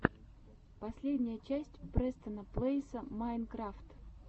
последняя часть престона плэйса майнкрафт